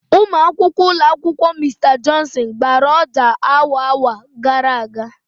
Ụmụ akwụkwọ ụlọ akwụkwọ Mr Johnson gbara ọjà awa awa gara aga.